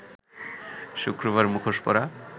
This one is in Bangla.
শুক্রবার মুখোশ পরা